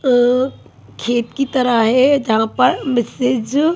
अ खेत की तरह है जहां पे मिसेज--